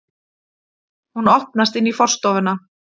Hún opnast inn í forstofuna.